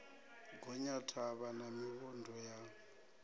gonya thavha na mivhundu ya